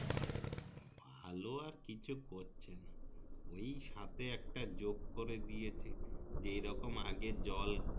ভালো আর কিছু করছে না ওই সাথে একটা যোগ করে দিয়েছে যে রকম আগে জল